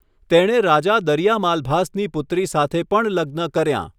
તેણે રાજા દરિયા માલભાસની પુત્રી સાથે પણ લગ્ન કર્યાં.